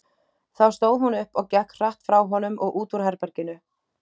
Þá stóð hún upp og gekk hratt frá honum og út úr herberginu.